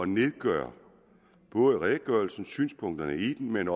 nedgøre redegørelsen på synspunkterne i den